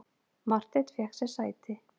Marteinn fékk sér sæti.